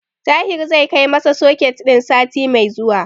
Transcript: Tahir zai kai masa soket din sati mai zuwa.